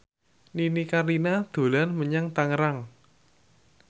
Nini Carlina dolan menyang Tangerang